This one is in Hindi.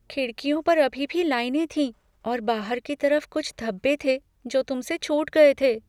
खिड़कियों पर अभी भी लाइनें थीं और बाहर की तरफ कुछ धब्बे थे जो तुमसे छूट गए थे।